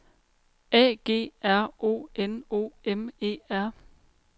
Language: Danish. A G R O N O M E R